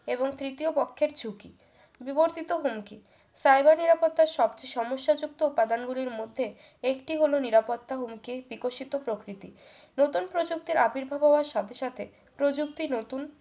এবং তৃতীয় পক্ষের ছুটি বিবর্তিত হুমকি cyber নিরাপত্তার সবচেয়ে সমস্যাযুক্ত উপাদানগুলির মধ্যে একটি হলো নিরাপত্তা হুমকির বিকশিত প্রকৃতি নতুন প্রযুক্তি আবির্ভাব হওয়ার সাথে সাথে প্রযুক্তি নতুন